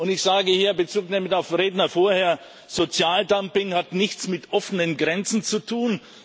Ich sage hier bezugnehmend auf Redner vorher Sozialdumping hat nichts mit offenen Grenzen zu tun.